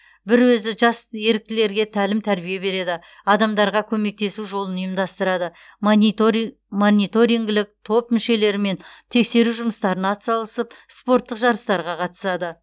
бір өзі жас еріктілерге тәлім тәрбие береді адамдарға көмектесу жолын ұйымдастырады мониторингілік топ мүшелерімен тексеру жұмыстарына атсалысып спорттық жарыстарға қатысады